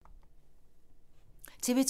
TV 2